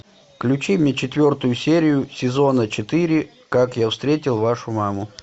включи мне четвертую серию сезона четыре как я встретил вашу маму